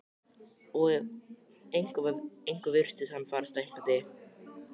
Og ef eitthvað var virtist hann fara stækkandi.